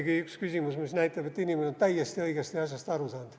Ometigi üks küsimus, mis näitab, et inimene on täiesti õigesti asjast aru saanud.